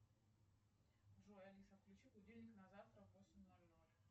джой алиса включи будильник на завтра в восемь ноль ноль